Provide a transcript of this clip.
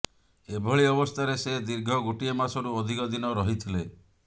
ଏଭଳି ଅବସ୍ଥାରେ ସେ ଦୀର୍ଘ ଗୋଟିଏ ମାସରୁ ଅଧିକ ଦିନ ରହିଥିଲେ